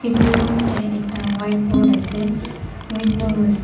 etu room deh ekta white board asey window ase--